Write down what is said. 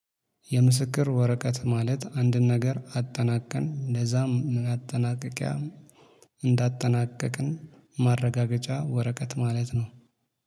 የምስክር ወረቀት ማለት አንድን ነገር አጠናቀን ለዛም ማጠናቀቂያ እንዳጠናቀቅን ማረጋገጫ ወረቀት ማለት ነው።